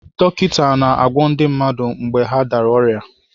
Dọkịta na-agwọ ndi mmadụ mgbe ha dara ọrịa.